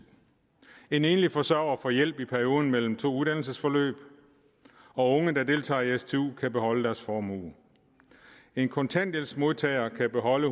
en enlig forsørger får hjælp i perioden mellem to uddannelsesforløb unge der deltager i stu kan beholde deres formue en kontanthjælpsmodtager kan beholde